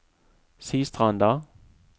Sistranda